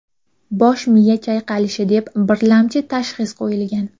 Bosh miya chayqalishi deb birlamchi tashxis qo‘yilgan.